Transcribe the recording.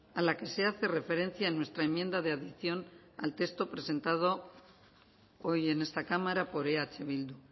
a la que se hace referencia en nuestra enmienda de adición al texto presentado hoy en esta cámara por eh bildu